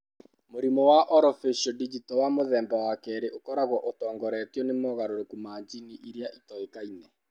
Mũrimũ wa orofaciodigital wa mũthemba wa 2 ũkoragwo ũtongoretio nĩ mogarũrũku ma jini ĩrĩa ĩtoĩkaine.